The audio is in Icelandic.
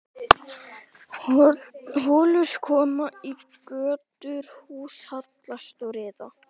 Holur koma í götur, hús hallast og riða.